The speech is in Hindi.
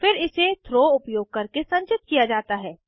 फिर इसे थ्रो उपयोग करके संचित किया जाता है